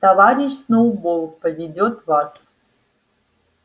товарищ сноуболл поведёт вас